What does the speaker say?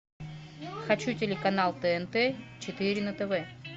хочу телеканал тнт четыре на тв